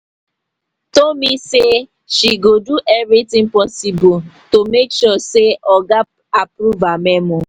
tomi say she go do everything possible to make sure say oga approve her memo